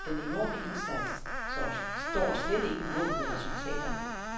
Den enorme indsats står slet ikke mål med resultaterne.